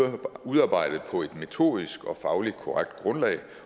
er udarbejdet på et metodisk og fagligt korrekt grundlag